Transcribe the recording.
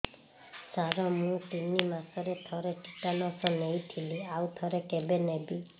ସାର ମୁଁ ତିନି ମାସରେ ଥରେ ଟିଟାନସ ନେଇଥିଲି ଆଉ ଥରେ କେବେ ନେବି